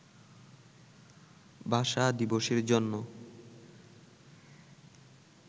ভাষা দিবসের জন্য